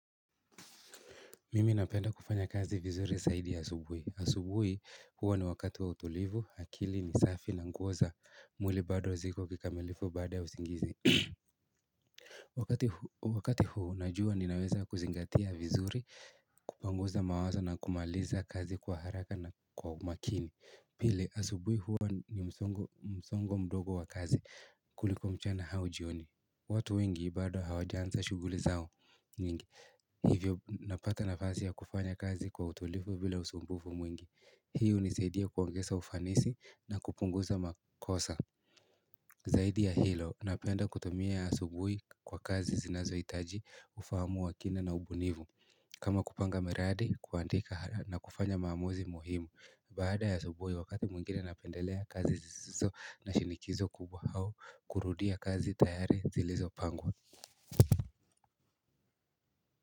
Mimi napenda kufanya kazi vizuri zaidi asubui. Asubui huwa ni wakati wa utulivu, akili ni safi na nguo za mwili bado ziko kikamilifu baada ya usingizi. Wakati huu najua ninaweza kuzingatia vizuri, kupanguza mawazo na kumaliza kazi kwa haraka na kwa umakini. Pile asubui huwa ni msongo mdogo wa kazi kuliko mchana hau jioni watu wengi bado hawajaansa shughuli zao nyingi Hivyo napata nafasi ya kufanya kazi kwa utulifu bila usumbufu mwingi hiyo hunisaidia kuongesa ufanisi na kupunguza makosa Zaidi ya hilo napenda kutumia asubui kwa kazi zinazoitaji ufahamu wa kina na ubunifu kama kupanga miradi kuandika na kufanya maamuzi muhimu Baada ya asubuhi wakati mwengine napendelea kazi zizizo na shinikizo kubwa au kurudia kazi tayari zilizopangwa.